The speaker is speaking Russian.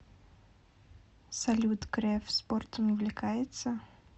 салют греф спортом увлекается